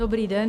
Dobrý den.